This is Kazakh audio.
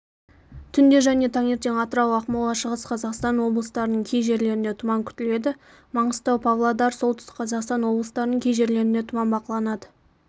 түнде және таңертең атырау акмола шығыс қазақстан облыстарының кей жерлерінде тұман күтіледі маңғыстау павлодар солтүстік қазақстан облыстарының кей жерлерінде тұман бақыланады